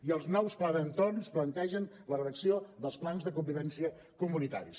i els nous plans d’entorn plantegen la redacció dels plans de convivència comunitaris